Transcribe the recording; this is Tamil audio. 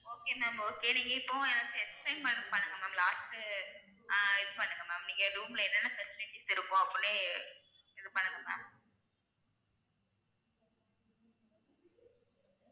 Okay ma'am okay நீங்க இப்பொ எனக்கு explain மட்டும் பண்ணுங்க ma'am last அஹ் இது பண்ணுங்க ma'am நீங்க room ல என்னனென்ன facilities இருக்கும் அப்படி இது பண்ணுங்க ma'am